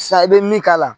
Sa i bɛ min k'a la